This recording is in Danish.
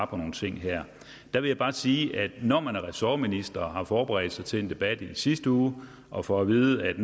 på nogle ting her der vil jeg bare sige at når man er ressortminister og har forberedt sig til en debat i sidste uge og får at vide at